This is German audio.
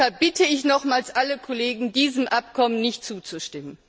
Deshalb bitte ich nochmals alle Kollegen, diesem Abkommen nicht zuzustimmen.